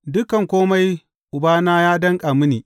Dukan kome Ubana ya danƙa mini.